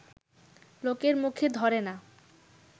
লোকের মুখে ধরে না